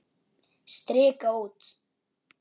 Strika út.